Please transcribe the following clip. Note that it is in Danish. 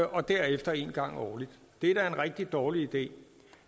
og derefter en gang årligt det er da en rigtig dårlig idé